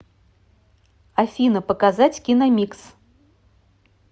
афина показать киномикс